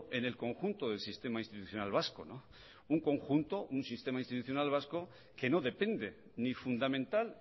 en el conjunto del sistema institucional vasco un conjunto un sistema institucional vasco que no depende ni fundamental